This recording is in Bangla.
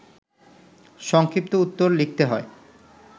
সংক্ষিপ্ত উত্তর লিখতে হয়